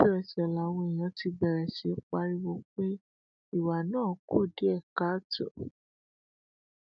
mínísítà fọrọ um obìnrin paulline tallen tóun náà fẹ dupò um ṣèǹtẹtò lágbègbè rẹ̀